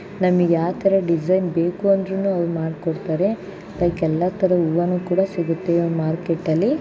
ನಮಿಗ್ ಯಾ ತರ ಡಿಸೈನ್ ಬೇಕು ಅಂದ್ರುನು ಮಾಡ್ ಕೊಡ್ತಾರೆ ಲೈಕ್ ಎಲ್ಲಾ ತರದ್ ಹೂವನು ಸಿಗತ್ತೆ ಮಾರ್ಕೆಟ್ ಅಲ್ಲಿ.